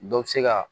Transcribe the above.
Dɔ bɛ se ka